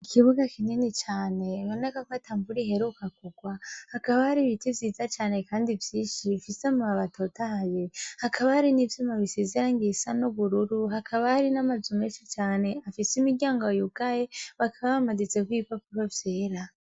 Ikibuga kineni cane bonegafata mburi heruka kurwa hakaba hari ibiti vyiza cane, kandi vyishi bifise mu babatotaye hakaba hari n'ivyuma bisezerangieisano bururu hakaba hari n'amazumeshi cane afise imiryango yugaye bakaba bamadizeko ibikakuko vyera.